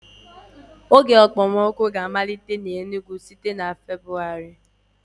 Oge okpomọkụ ga-amalite n'Enugwu site na Febuwari.